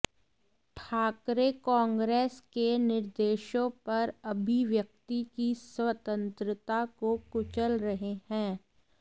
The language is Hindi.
ठाकरे कांग्रेस के निर्देशों पर अभिव्यक्ति की स्वतंत्रता को कुचल रहें है